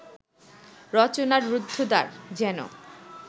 রচনার রুদ্ধদ্বার যেন